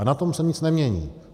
A na tom se nic nemění.